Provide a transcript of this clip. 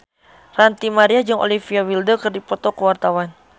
Ranty Maria jeung Olivia Wilde keur dipoto ku wartawan